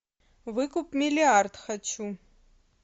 выкуп миллиард хочу